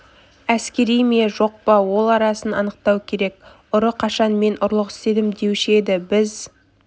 әскери ме жоқ па ол арасын анықтау керек ұры қашан мен ұрлық істедім деуші еді біз